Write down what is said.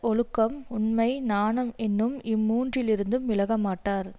ஒழுக்கம் உண்மை நாணம் என்னும் இம்மூன்றிலிருந்தும் விலகமாட்டார்